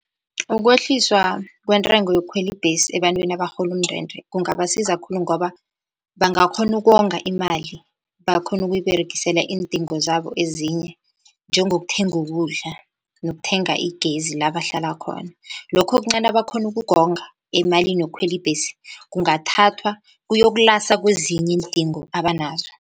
Ukwehliswa kwentengo yokukhwela ibhesi ebantwini abarhola umndende kungabasiza khulu, ngoba bangakghona ukonga imali bakhone ukuyiberegisela iindingo zabo ezinye, njengokuthenga ukudla nokuthenga igezi la bahlala khona. Lokho okuncani abakhona ukukonga emalini yokukhwela ibhesi kungathathwa kuyokulasa kwezinye iindingo abanazo.